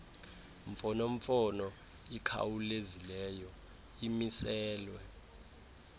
mfonomfono ikhawulezileyo imiselwe